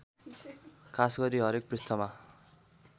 खासगरि हरेक पृष्ठमा